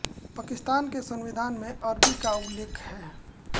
पाकिस्तान के संविधान में अरबी का उल्लेख है